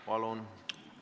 Palun!